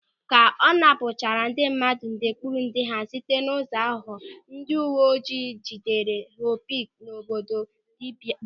Ka ọ napụchara ndị mmadụ ndekpụrụnde ha site n'ụzọ aghụghọ, ndị uwe ojii jidere Họpọpị n'obodo Dubai.